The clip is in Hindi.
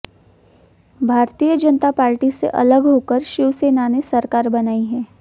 भारतीय जनता पार्टी से अलग होकर शिवसेना ने सरकार बनाई है